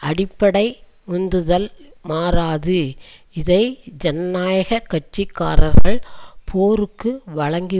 அடிப்படை உந்துதல் மாறாது இதை ஜனநாயக கட்சி காரர்கள் போருக்கு வழங்கி